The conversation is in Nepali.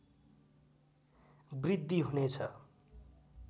वृद्धि हुनेछ